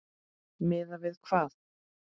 Miðað við hvað?